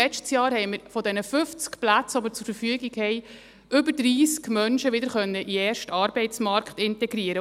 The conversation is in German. Letztes Jahr konnten wir mit den 50 Plätzen, die wir zur Verfügung haben, über 30 Menschen wieder in den ersten Arbeitsmarkt integrieren.